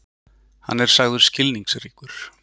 Hann er sagður skilningsríkur.